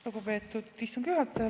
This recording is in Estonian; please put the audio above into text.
Lugupeetud istungi juhataja!